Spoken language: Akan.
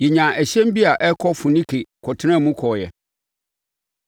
Yɛnyaa ɛhyɛn bi a ɛrekɔ Foinike kɔtenaa mu kɔeɛ.